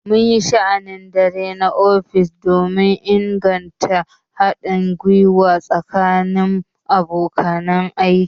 Mun yi sha'anin dare na ofis don inganta haɗin gwiwa tsakanin abokan aiki.